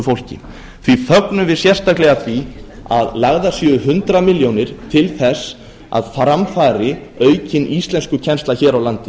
fólki því fögnum við sérstaklega því að lagðar séu hundrað milljónir til þess að fram fari aukin íslenskukennsla hér á landi